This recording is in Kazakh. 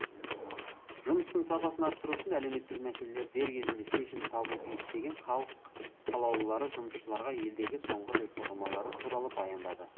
жұмыстың сапасын арттыру үшін әлеуметтік мәселелер дер кезінде шешімін табуы тиіс деген халық қалалулылары жұмысшыларға елдегі соңғы реформалары туралы баяндады